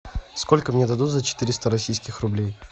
сколько мне дадут за четыреста российских рублей